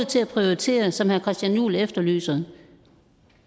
til at prioritere som herre christian juhl efterlyser